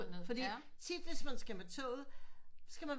Fordi tit hvis man skal med toget så skal man